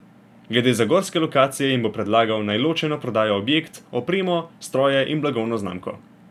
Glede zagorske lokacije jim bo predlagal, naj ločeno prodajo objekt, opremo, stroje in blagovno znamko.